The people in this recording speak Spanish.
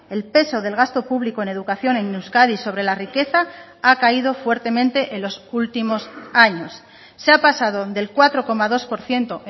el peso del gasto público en educación en euskadi sobre la riqueza ha caído fuertemente en los últimos años se ha pasado del cuatro coma dos por ciento